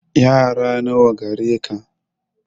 Yara nawa gare ka